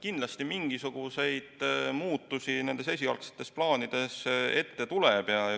Kindlasti mingisuguseid muudatusi nendes esialgsetes plaanides tuleb.